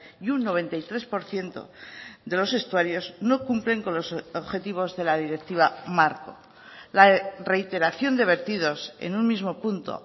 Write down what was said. y un noventa y tres por ciento de los estuarios no cumplen con los objetivos de la directiva marco la reiteración de vertidos en un mismo punto